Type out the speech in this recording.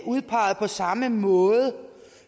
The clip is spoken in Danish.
udpeget på samme måde